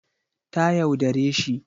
Ta yaudare shi